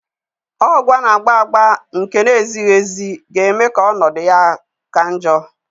Ọgwu a na-agba agba nke na-ezighi ezi ga-eme ka ọnọdụ ya ka njọ.